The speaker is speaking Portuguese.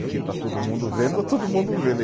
O que está todo mundo vendo, está todo mundo vendo.